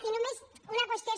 i només una qüestió